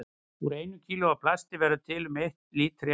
Úr einu kílói af plasti verður til um einn lítri af olíu.